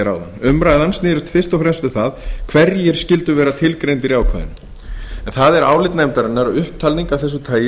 áðan umræðan snerist fyrst og fremst um hverjir skyldu vera tilgreindir í ákvæðinu er það álit nefndarinnar að upptalningar af þessu tagi